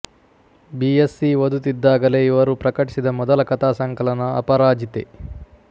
B Sc ಓದುತ್ತಿದ್ದಾಗಲೇ ಇವರು ಪ್ರಕಟಿಸಿದ ಮೊದಲ ಕಥಾ ಸಂಕಲನ ಅಪರಾಜಿತೆ